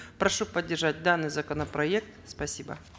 прошу поддержать данный законопроект спасибо